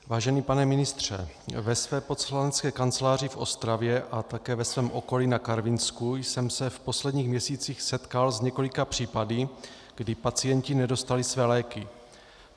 Vážený pane ministře, ve své poslanecké kanceláři v Ostravě a také ve svém okolí na Karvinsku jsem se v posledních měsících setkal s několika případy, kdy pacienti nedostali své léky.